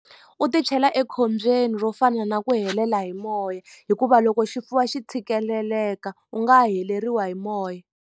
U ti chela ekhombyeni ro fana na ku helela hi moya hikuva loko xi fuwa xi tshikeleleka u nga heleriwa hi moya.